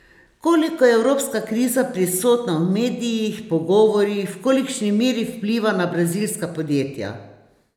Koliko je evropska kriza prisotna v medijih, pogovorih, v kolikšni meri vpliva na brazilska podjetja?